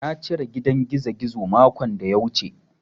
Na cire gidan gizogizo makon da ya wuce.